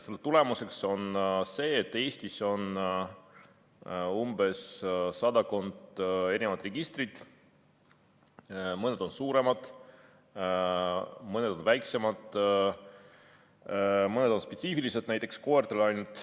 Selle tulemuseks on see, et Eestis on sadakond registrit, mõned on suuremad, mõned on väiksemad, mõned on spetsiifilised, näiteks ainult koertele.